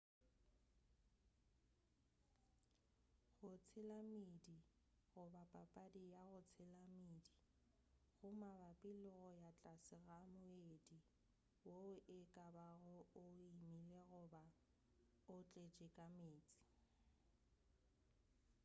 go tshela meedi goba: papadi ya go tshela meedi go mabapi le go ya tlase ga moedi woo ekabago o omile goba o tletše ka meetse